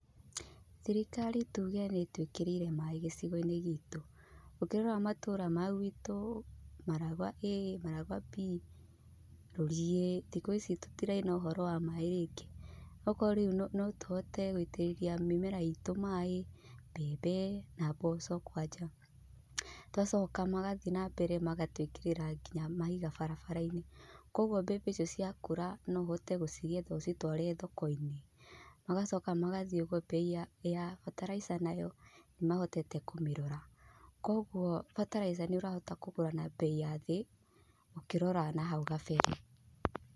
Thirikari tuge nĩ ĩtwĩkĩrĩire maaĩ gĩcio-inĩ gĩtũ. Ũngĩrora matũũra ma gwitũ; Maragwa A, Maragwa B, Rũrie, thikũ ici tũtiraina ũhoro wa maaĩ rĩngĩ. Ũgakora rĩu no tũhote gũitĩrĩria mĩmera itũ maaĩ, mbembe, mboco kwanja. Tũgacoka magathiĩ na mbere magatwĩkirĩra nginya mahiga barabarainĩ. Kũoguo mbembe icio ciakũra no ũhote gũcigetha ũcitware thokoinĩ. Magacoka magathiĩ ũguo mbei ya bataraitha nayo, nĩ mahotete kũmirora. Kũguo bataraitha nĩ ũrahota kũgũra na bei ya thĩ, ũkĩrora na hau kabere.